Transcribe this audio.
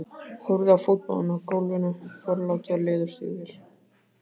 Horfði á fótabúnaðinn á gólfinu, forláta leðurstígvél.